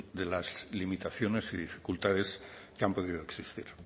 de las limitaciones y dificultades que han podido existir